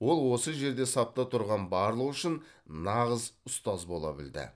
ол осы жерде сапта тұрған барлығы үшін нағыз ұстаз бола білді